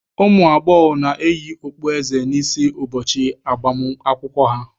Ụmụ agbọghọ na-eyi okpueze n'isi ụbọchị agbam akwụkwọ ha.